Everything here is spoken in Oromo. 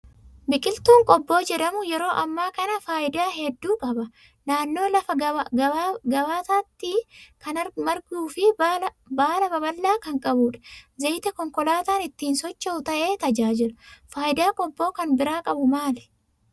Biqiltuun qobboo jedhamu yeroo ammaa kana faayidaa hedduu qaba. Naannoo lafa gabbataatti kan marguu fi baala babal'aa kan qabudha. Zayita konkolaataan ittiin socho'u ta'ee tajaajila. Faayidaa qobboon kan biraa qabu maali?